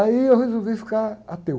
Aí eu resolvi ficar ateu.